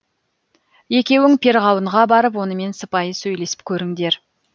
екеуің перғауынға барып онымен сыпайы сөйлесіп көріңдер